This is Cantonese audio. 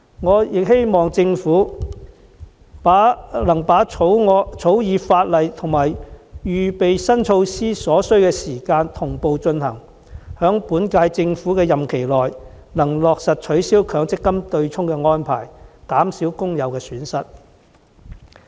我亦希望政府能同步草擬法例和推展相關新措施的準備工作，務求在本屆政府任期內落實取消強積金對沖安排，減少工友的損失。